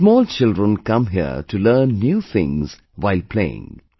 Small children come here to learn new things while playing